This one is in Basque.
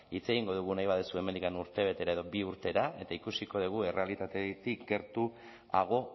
hitz egingo dugu nahi baduzu hemendik urtebetera edo bi urtera eta ikusiko dugu errealitatetik gertuago